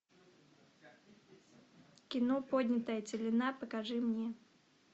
кино поднятая целина покажи мне